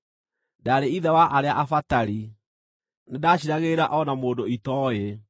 Ndaarĩ ithe wa arĩa abatari; nĩndaciiragĩrĩra o na mũndũ itooĩ.